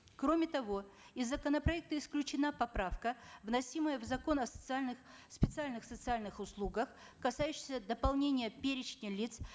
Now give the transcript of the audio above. кроме того из законопроекта исключена поправка вносимая в закон о социальных специальнх социальных услугах касающаяся дополнения перечня лиц